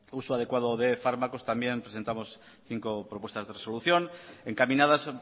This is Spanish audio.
uso adecuado de fármacos también presentamos cinco propuestas de resolución encaminadas